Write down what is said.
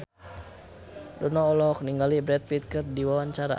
Dono olohok ningali Brad Pitt keur diwawancara